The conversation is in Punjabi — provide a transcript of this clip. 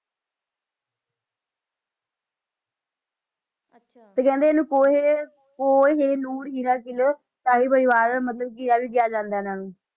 ਤੇ ਕਹਿੰਦੇ ਕੋਹੇ~ ਕੋਹੇਨੂਰ ਹੀਰਾ ਕਿਲ੍ਹਾ ਸ਼ਾਹੀ ਪਰਿਵਾਰ ਮਤਲਬ ਕਿਲ੍ਹਾ ਵੀ ਕਿਹਾ ਜਾਂਦਾ ਇਹਨਾਂ ਨੂੰ